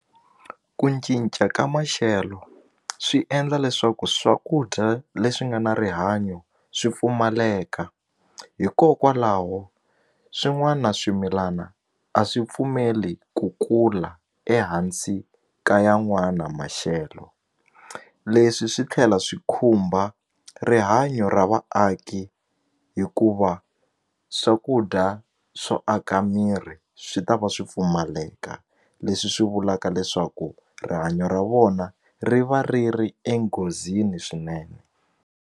Ku cinca ka maxelo swi endla leswaku swakudya leswi nga na rihanyo swi pfumaleka hikokwalaho swin'wana swimilana a swi pfumeli ku kula ehansi ka yan'wana maxelo leswi swi tlhela swi khumba rihanya ra vaaki hikuva swakudya swo aka miri swi ta va swi pfumaleka leswi swi vulaka leswaku rihanyo ra vona ri va ri ri enghozini swinene.